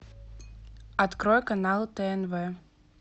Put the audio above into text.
открой канал тнв